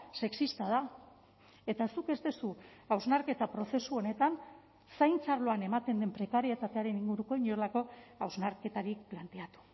sexista da eta zuk ez duzu hausnarketa prozesu honetan zaintza arloan ematen den prekarietatearen inguruko inolako hausnarketarik planteatu